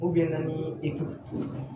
ni